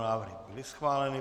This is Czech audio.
Návrhy byly schváleny.